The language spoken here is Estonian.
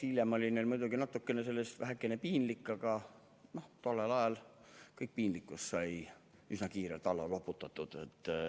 Hiljem oli neil muidugi vähekene piinlik, aga tollel ajal sai kogu piinlikkus üsna kiirelt alla loputatud.